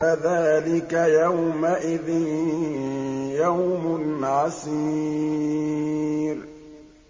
فَذَٰلِكَ يَوْمَئِذٍ يَوْمٌ عَسِيرٌ